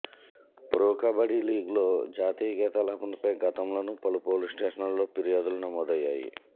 pro kabaddi లీగ్లో జాతీయ గీతాలాపనపై గతంలోనూ పలు పోలీస్ స్టేషన్లలో ఫిర్యాదులు నమోదయ్యాయి